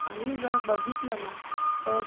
तर दिवसभरात तसाच रात्री